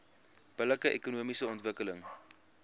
billike ekonomiese ontwikkeling